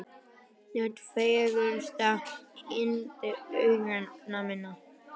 Þú ert fegursta yndi augna minna.